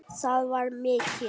Það var mikið.